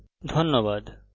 অংশগ্রহনের জন্য ধন্যবাদ